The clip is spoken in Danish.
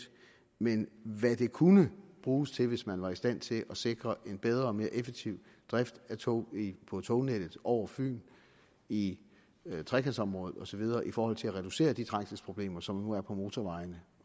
men også hvad det kunne bruges til hvis man var i stand til at sikre en bedre og mere effektiv drift af tog på tognettet over fyn i trekantområdet og så videre i forhold til at reducere de trængselsproblemer som nu er på motorvejene